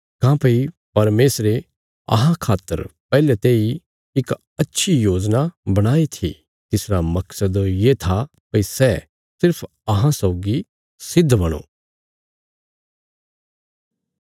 काँह्भई परमेशरे अहां खातर पैहले तेई इक अच्छी योजना बणाई थी तिसरा मकसद ये था भई सै सिर्फ अहां सौगी सिद्ध बणो